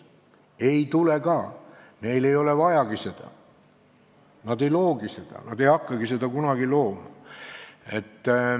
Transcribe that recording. Seda ei tule ka, neil ei ole seda vajagi, nad ei loogi seda, ei hakkagi kunagi looma.